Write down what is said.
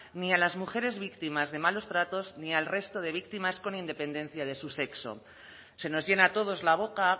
ni a las mujeres víctimas de malos tratos ni al resto de víctimas con independencia de su sexo se nos llena a todos la boca